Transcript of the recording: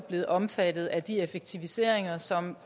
blevet omfattet af de effektiviseringer som